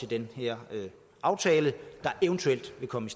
den her aftale der eventuelt vil komme